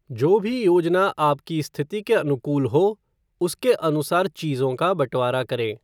जो भी योजना आपकी स्थिति के अनुकूल हो, उसके अनुसार चीजों का बँटवारा करें।